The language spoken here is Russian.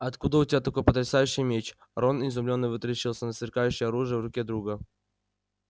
а откуда у тебя такой потрясающий меч рон изумлённо вытаращился на сверкающее оружие в руке друга